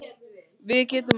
Við getum allt.